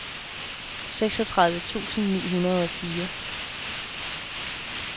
seksogtredive tusind ni hundrede og fire